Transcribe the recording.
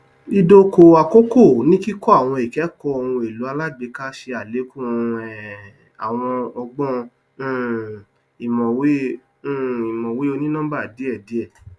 idokò àkókò ní kíkọ àwọn ikẹkọ ohun èlò alágbèéká ṣe alékún um àwọn ọgbọn um ìmọwé um ìmọwé onínọmbà díẹdíẹ